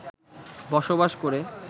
বসবাস করে